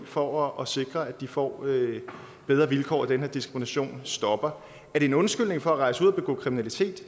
for at sikre at de får bedre vilkår og at den her diskrimination stopper er det en undskyldning for at rejse ud og begå kriminalitet